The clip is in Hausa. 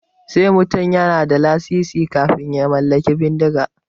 Sai mutum yana da lasisi kafin ya mallaki bindiga.